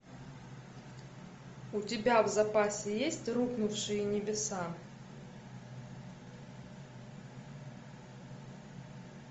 у тебя в запасе есть рухнувшие небеса